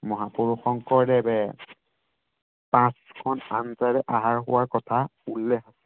মহাপুৰুষ শংকৰদেৱে পাঁচ খন আহাৰ খোৱাৰ কথা উল্লেখ